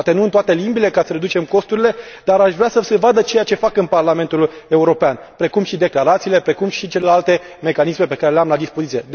Poate nu în toate limbile, ca să reducem costurile, dar aș vrea să se vadă ceea ce fac în Parlamentul European, precum și declarațiile, precum și celelalte mecanisme pe care le am la dispoziție.